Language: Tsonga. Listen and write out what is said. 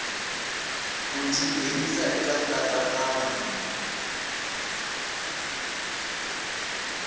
ku ti nghenisa eka nkatsakanyo